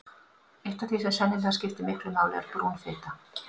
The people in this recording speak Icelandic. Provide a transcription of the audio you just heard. Eitt af því sem sennilega skiptir miklu máli er brún fita.